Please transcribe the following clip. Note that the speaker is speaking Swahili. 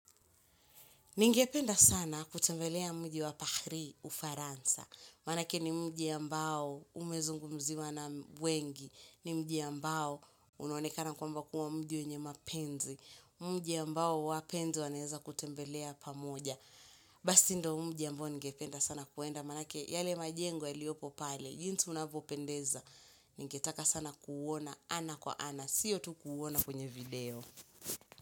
Ningependa sana kutembelea mji wa Paris, ufaransa. Maanake ni mji ambao umezungumziwa na wengi. Ni mji ambao unaonekana kwamba kuwa mji wenye mapenzi. Mji ambao wapenzi wanaweza kutembelea pamoja. Basi ndio mji ambao ningependa sana kuenda. Maanake yale majengo yailiopo pale. Jinsi unavyoendeza. Ningetaka sana kuuona ana kwa ana. Sio tu kuona kwenye video.